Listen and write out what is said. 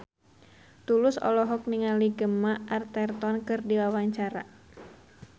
Tulus olohok ningali Gemma Arterton keur diwawancara